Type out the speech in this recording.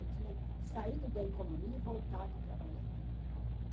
Eu tinha saído da economia e voltado a trabalhar.